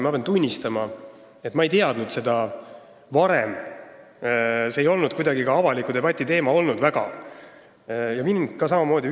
Ma pean tunnistama, et ma ei teadnud sellest varem, see ei olnud väga avaliku debati teema olnud, ja mind üllatas see samamoodi.